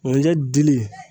ŋunjɛ dili